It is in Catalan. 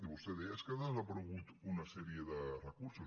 i vostè deia és que han desaparegut una sèrie de recursos